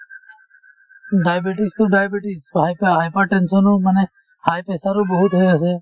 diabetes তো diabetes to hype hypertension ও মানে high pressure ও বহুত হৈ আছে